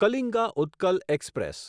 Kalinga Utkal express